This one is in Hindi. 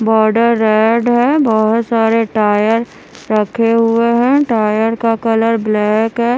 बोर्डेर रेड है बोहोत सारे टायर रखे हुए है टायर का कलर ब्लैक है।